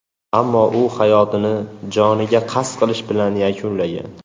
Ammo u hayotini joniga qasd qilish bilan yakunlagan.